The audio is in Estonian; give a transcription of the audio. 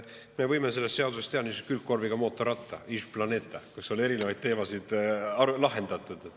Me võime sellest seadusest teha niisuguse külgkorviga mootorratta Iž Planeta, kus on erinevaid teemasid lahendatud.